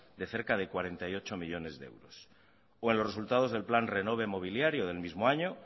de cerca de cuarenta y ocho millónes de euros o en los resultados del plan renove mobiliario del mismo año